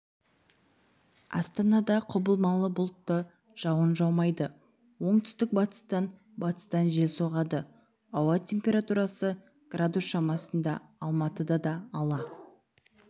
астанада құбылмалы бұлтты жауын жаумайды оңтүстік-батыстан батыстан жел соғады ауа температурасы градус шамасында алматыда да ала